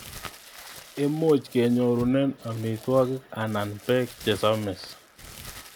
Imuch kenyorune amitwokik anan bek chesomis.